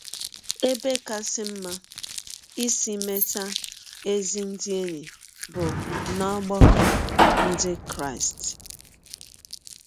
Ebe kasị mma isi meta ezi ndị enyi bụ n’ọgbakọ ndị Krịsti